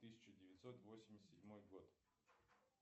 тысяча девятьсот восемьдесят седьмой год